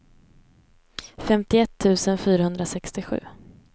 femtioett tusen fyrahundrasextiosju